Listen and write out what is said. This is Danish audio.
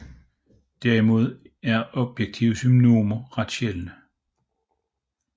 Derimod er objektive synonymer ret sjældne